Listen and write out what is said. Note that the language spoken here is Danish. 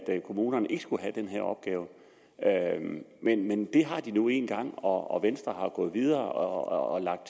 kommunerne ikke skulle have den her opgave men det har de nu engang og venstre er gået videre og har lagt